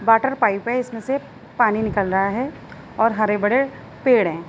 Water pipe है। इसमें से पानी निकल रहा है और हरे-भरे पेड़ हैं।